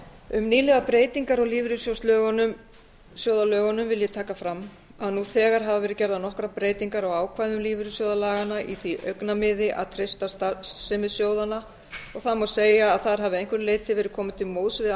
um nýlegar breytingar á lífeyrissjóðalögunum vil ég taka fram að nú þegar hafa verið gerðar nokkrar breytingar á ákvæðum lífeyrissjóðalaganna í því augnamiði að treysta starfsemi sjóðanna það má segja að þar hafi að einhverju leyti verið komið til móts við